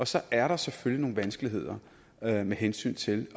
så er der selvfølgelig nogle vanskeligheder med med hensyn til i